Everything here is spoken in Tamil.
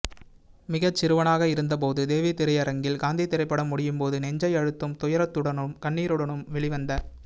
மிகச்சிறுவனாக இருந்தபோதுதேவி திரையரங்கில் காந்தி திரைப்படம் முடியும் போது நெஞ்சை அழுத்தும் துயரத்துடனும் கண்ணீருடனும் வெளி வந்த